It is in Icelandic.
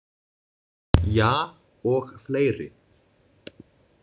Ja, og fleiri.